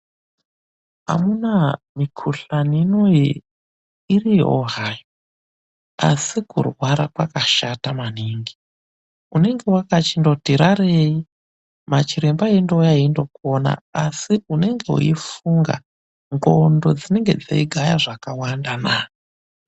Amunaa mikhuhlani inoi iriyoo hayo, asi kurwara kwakashata maningi. Unenge wakachindoti rarei, machiremba eindokuona asi unenge weifunga, ndxondo dzinenge dzeigaya zvakawandanaa.